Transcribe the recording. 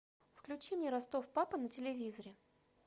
включи мне ростов папа на телевизоре